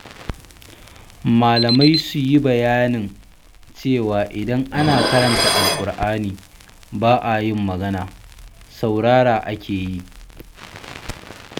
Malamai su yi bayanin cewa idan ana karanta Alkur'ani ba a yin magana, saurarawa ake yi.